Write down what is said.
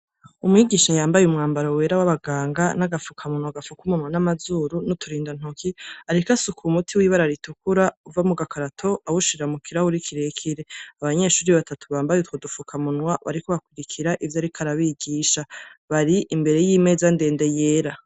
Umwigisha yambaye umwambaro wera w'abanganga n'agafukamunwa gafuka umunwa n'amazuru n'uturinda ntoki, ariko asuka umuti w'ibara ritukura uva mugakarato awushira mukirahure kirekire, abanyeshure batatu bambaye utwo dufuka k'umunwa bariko bakurikira ivyo ariko arabigisha, bari imbere y'imeza ndende yera.